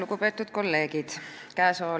Lugupeetud kolleegid!